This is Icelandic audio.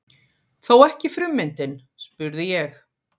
Þó ekki frummyndin? spurði ég.